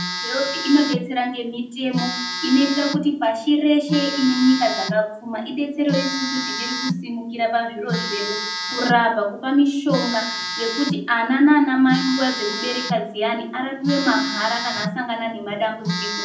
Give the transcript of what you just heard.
Health inodetsera ngemitemo inoitira kuti pashi reshe inenyika dzakapfuma idetserewo isusu tichirikusimukira pazviro zvedu, kurapa ,kupa mishonga yekuti ana amai nguva dzekubereka dziani arapwe maharakana asangana nemadambudziko.